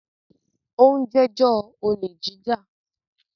ó ń “ jẹ́jọ́” olè jíjà.